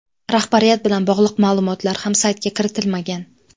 Rahbariyat bilan bog‘liq ma’lumotlar ham saytga kiritilmagan.